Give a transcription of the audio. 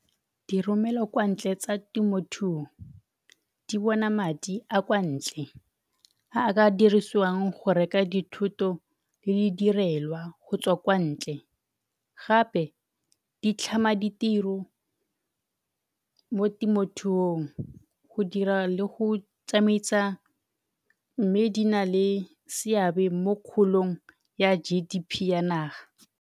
Diromelwa kwa ntle tsa temothuo di bona madi a kwa ntle a a ka dirisiwang go reka dithoto le di direlwa go tswa kwa ntle. Gape di tlhama ditiro mo temothuong, go dira le go tsamaisa mme di na le seabe mo kgolong ya G_D_P ya naga.